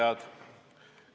Head kuulajad!